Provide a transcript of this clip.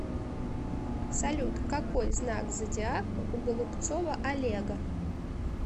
салют какой знак зодиака у голубцова олега